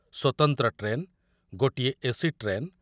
ସ୍ୱତନ୍ତ୍ର ଟ୍ରେନ୍, ଗୋଟିଏ AC train